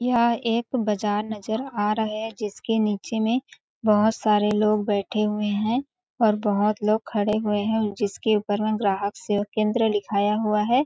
यह एक बजार नज़र आ रहा है जिसके नीचे में बहोत सारे लोग बैठे हुए है और बहोत लोग खड़े हुए है जिसके ऊपर में ग्राहक सेवा केंद्र लिखाया हुआ है।